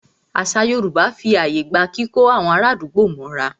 Àṣà Yorùbá fí ààyè gba kíkó àwọn ará àdúgbò mọ́ra.